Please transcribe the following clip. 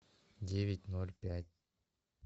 девять ноль пять